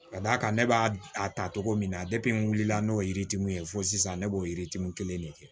Ka d'a kan ne b'a ta cogo min na n wulila n'o ye yirituru ye fo sisan ne b'o yiritiniw kelen de kɛ